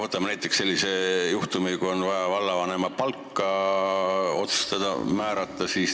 Võtame näiteks sellise juhtumi, kui on vaja vallavanemale palka määrata.